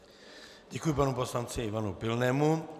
Děkuji panu poslanci Ivanu Pilnému.